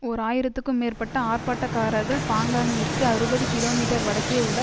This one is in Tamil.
ஓர் ஆயிரத்துக்கும் மேற்பட்ட ஆர்ப்பாட்டக்காரர்கள் பாங்காக்கிற்கு அறுபது கிமீ வடக்கே உள்ள